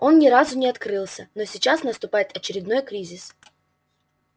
он ни разу не открылся но сейчас наступает очередной кризис